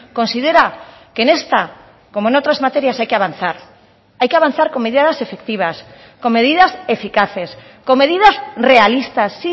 considera que en esta como en otras materias hay que avanzar hay que avanzar con medidas efectivas con medidas eficaces con medidas realistas